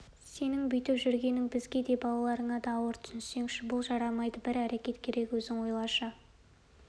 сенің бүйтіп жүргенің бізге де балаларыңа да ауыр түсінсеңші бұл жарамайды бір әрекет керек өзің ойлашы